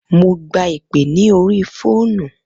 Mo gba ìpè lórí ní orí fóònù.